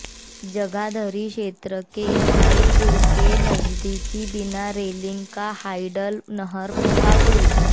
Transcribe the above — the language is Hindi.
जगाधरी क्षेत्र के इस्माइलपुर के नजदीक बिना रेलिंग का हाइडल नहर का पुल